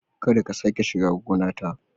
Kada ka sake ka shiga gonata!